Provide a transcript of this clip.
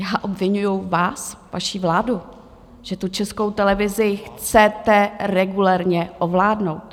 Já obviňuji vás, vaši vládu, že tu Českou televizi chcete regulérně ovládnout.